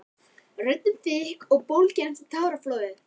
Röddin þykk og bólgin eftir táraflóðið.